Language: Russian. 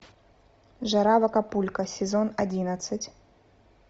жара в акапулько сезон одиннадцать